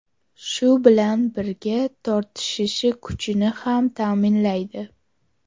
Shu bilan birga tortishishi kuchini ham ta’minlaydi.